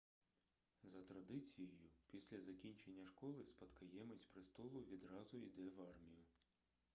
за традицією після закінчення школи спадкоємець престолу відразу йде в армію